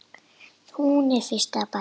Hún er fyrsta barn.